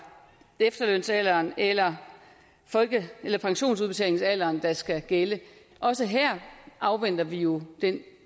efterlønsalderen eller eller pensionsudbetalingsalderen der skal gælde også her afventer vi jo den